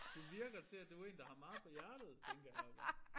Du virker til at du én der har meget på hjertet tænker jeg bare